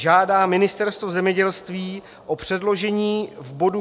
Žádá Ministerstvo zemědělství o předložení v bodu